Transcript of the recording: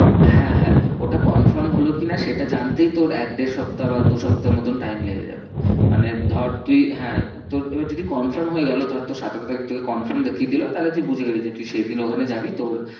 হ্যাঁ হ্যাঁ ওটা confirm হলো কি না সেটা জানতেই তোর এক দেড় সপ্তা বা দু সপ্তা মতন time লেগে যাবে। মানে ধর তুই হ্যাঁ তোর এবার যদি confirm হয়ে গেলো ধর তোর সতেরো তারিখ তোকে confirm দেখিয়ে দিলো তাহলে তুই বুঝে গেলি যে তুই সেই দিন ওখানে যাবি তোর